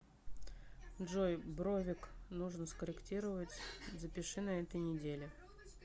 джой бровик нужно скорректировать запиши на этой неделе